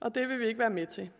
og det vil vi ikke være med til